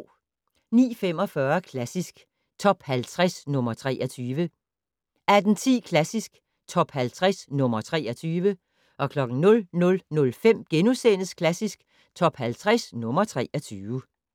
09:45: Klassisk Top 50 - nr. 23 18:10: Klassisk Top 50 - nr. 23 00:05: Klassisk Top 50 - nr. 23 *